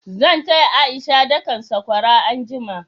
Zan taya A'isha dakan sakwara anjima.